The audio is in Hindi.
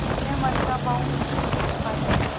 अपने मन का भाव मुंशी से छिपाती थी